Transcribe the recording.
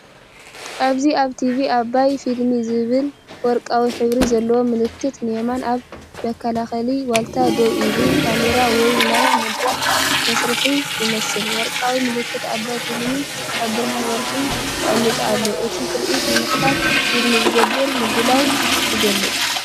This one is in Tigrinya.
ኣብዚ ኣብ ቲቪ፡ ኣባይ ፊልም"ዝብል ወርቃዊ ሕብሪ ዘለዎ ምልክት፡ ንየማን ኣብ መከላኸሊ ዋልታ ደው ኢሉ፡ካሜራ ወይ ናይ መድረኽ መሳርሒ ይመስል። ወርቃዊ ምልክት ኣባይ ፊልምስ ኣብ ብርሃን ወርሒ ተቐሚጡ ኣሎ። እቲ ትርኢት ንመኽፈቲ ፊልም ዝግበር ምድላው ይገልጽ።